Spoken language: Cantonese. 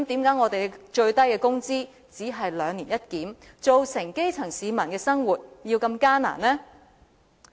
那為何最低工資只能兩年一檢，致令基層市民生活如此艱難呢？